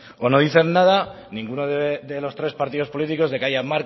o no dicen nada ninguno de los tres partidos políticos de que haya